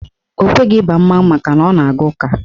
Ọ kweghị ịba mmanwụ makana ọ na-aga ụka.